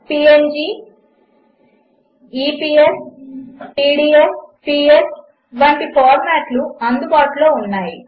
PNG EPS PDF psవంటిఫార్మాట్లుఅందుబాటులోఉన్నాయి